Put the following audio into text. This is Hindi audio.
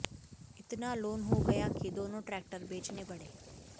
इतना लोन हो गया कि दोनों ट्रैक्टर बेचने पड़े